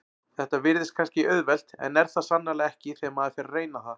Þetta virðist kannski auðvelt en er það sannarlega ekki þegar maður fer að reyna það.